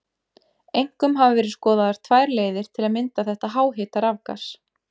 Einkum hafa verið skoðaðar tvær leiðir til að mynda þetta háhita rafgas.